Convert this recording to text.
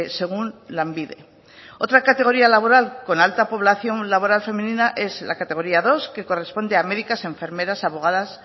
según lanbide otra categoría laboral con alta población laboral femenina es la categoría dos que corresponde a médicas enfermeras abogadas